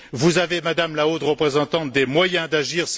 Vous avez, Madame la Haute représentante, des moyens d'agir.